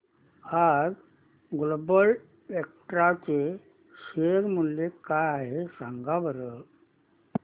आज Global Vectra चे share मूल्य काय आहे सांगा बरं